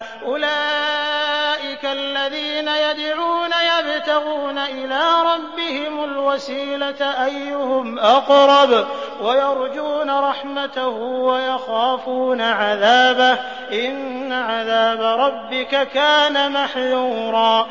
أُولَٰئِكَ الَّذِينَ يَدْعُونَ يَبْتَغُونَ إِلَىٰ رَبِّهِمُ الْوَسِيلَةَ أَيُّهُمْ أَقْرَبُ وَيَرْجُونَ رَحْمَتَهُ وَيَخَافُونَ عَذَابَهُ ۚ إِنَّ عَذَابَ رَبِّكَ كَانَ مَحْذُورًا